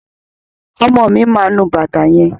Ọmọ mi máa nu bàtà yẹn.